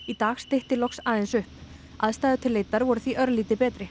í dag stytti loks aðeins upp aðstæður til leitar voru því örlítið betri